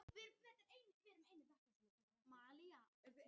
Sá leikur átti upphaflega að vera á morgun.